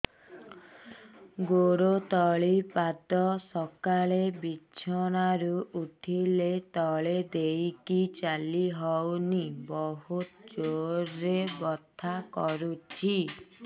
ଗୋଡ ତଳି ପାଦ ସକାଳେ ବିଛଣା ରୁ ଉଠିଲେ ତଳେ ଦେଇକି ଚାଲିହଉନି ବହୁତ ଜୋର ରେ ବଥା କରୁଛି